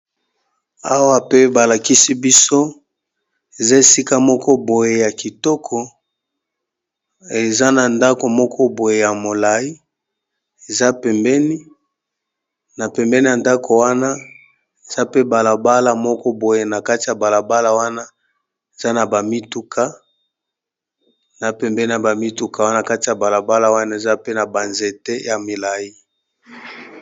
Awa pe balakisi biso eza esika moko, boye ya kitoko eza na ndaku moko boye ya molai na pembeni ya ndaku wana eza pe balabala moko boye na kati ya balabala wana pembeni ya ba mituka wana kati ya balabala wana eza pe na banzete ya molai,